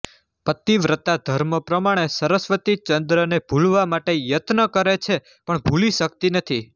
પતિવ્રતા ધર્મ પ્રમાણે સરસ્વતીચંદ્રને ભૂલવા માટે યત્ન કરે છે પણ ભૂલી શકતી નથી